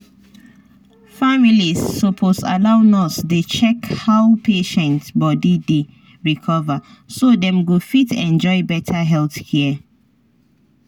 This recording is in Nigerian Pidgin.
families suppose allow nurse dey check how patient body dey recover so dem go fit enjoy better health care.